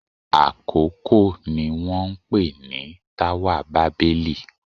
Àkókò ni wọ́n ń pè ní táwà bábẹ́lì.